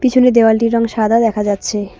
পিছনের দেওয়ালটির রং সাদা দেখা যাচ্ছে।